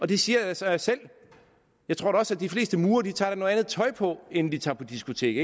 det siger sig selv jeg tror da også at de fleste murere tager noget andet tøj på inden de tager på diskotek